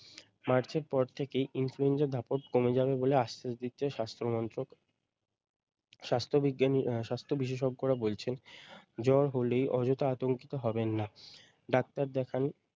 মার্চের পর থেকেই influenza ধাপক কমে যাবে বলে আশ্বাস দিচ্ছে স্বাস্থ্যমন্ত্রক স্বাস্থ বিজ্ঞানী আহ স্বাস্থ বিশেষজ্ঞরা বলছেন জ্বর হলেই অযথা আতঙ্কিত হবেন না ডাক্তার দেখান।